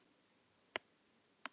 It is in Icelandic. Tvö Íslandsmet til viðbótar féllu